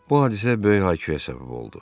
Bu hadisə böyük hay-küyə səbəb oldu.